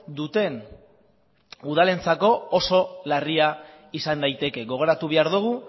duten udalentzako oso larria izan daiteke gogoratu behar dugu